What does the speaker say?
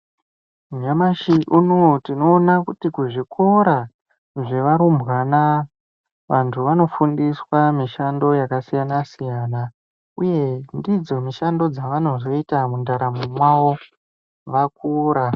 Nyamashi unouyu tinowona kuti kuzvikora zvevarumbwana vantu vanofundiswa mishando yakasiyana siyana. Uye ndidzo mishando dzavanozoite muntaramo yavo vakura.